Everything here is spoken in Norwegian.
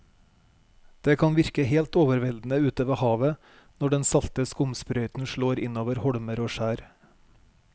Det kan virke helt overveldende ute ved havet når den salte skumsprøyten slår innover holmer og skjær.